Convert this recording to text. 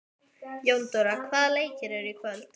Jóndóra, hvaða leikir eru í kvöld?